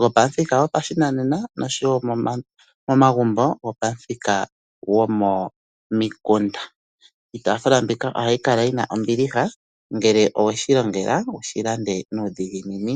go pamuthika go pashinanena nosho wo momagumbo go pamuthika go momikunda. Iitafula mbika ohayi kala yi na ombiliha ngele owe shi longela wushi lande nuudhiginini.